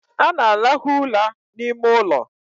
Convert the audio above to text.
Ana alahu ula n' ime ụlọ